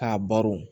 K'a baro